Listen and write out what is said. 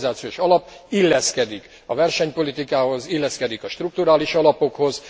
A globalizációs alap illeszkedik a versenypolitikához, illeszkedik a strukturális alapokhoz.